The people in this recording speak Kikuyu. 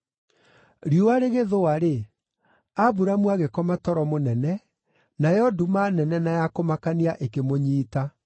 Riũa rĩgĩthũa-rĩ, Aburamu agĩkoma toro mũnene, nayo nduma nene na ya kũmakania ĩkĩmũnyiita.